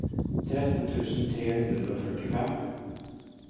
tretten tusen tre hundre og førtifem